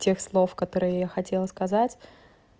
тех слов которые я хотела сказать